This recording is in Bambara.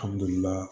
Alihamdulila